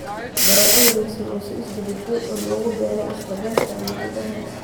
baradho wareegsan oo si isdaba joog ah loogu beeray isla beerta ama gudaha